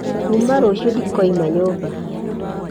Kuuma rũciũ ndikoima nyũmba.